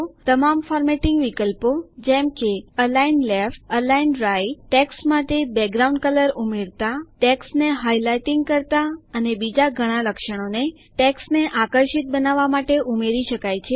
તમામ ફોર્મેટિંગ વિકલ્પો જેમ કે align left align right text માટે બેકગ્રાઉન્ડ કલર ઉમેરતા ટેક્સ્ટને હાઇલાઇટિંગ કરતા અને બીજા ઘણા લક્ષણોને ટેક્સ્ટને આકર્ષક બનાવવા માટે ઉમેરી શકાય છે